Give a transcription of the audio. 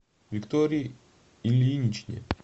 виктории ильиничне